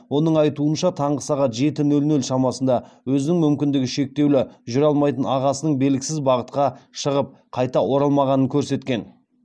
оның айтуынша таңғы сағат жеті нөл нөл шамасында өзінің мүмкіндігі шектеулі жүре алмайтын ағасының белгісіз бағытқа шығып қайта оралмағанын көрсеткен